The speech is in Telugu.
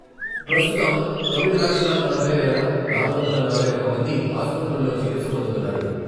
ప్రస్తుతం తొమ్మిది లక్షల నలభై వేల నాలుగు వందల నలభై ఒక్క మంది ఆసుపత్రుల్లో చికిత్స పొందుతున్నారు.